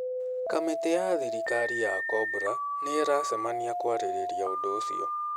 Kamĩtĩ ya thirikari ya Cobra nĩ ĩracemania kwarĩrĩria ũndũ ũcio